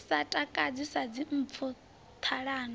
sa takadzi sa dzimpfu ṱhalano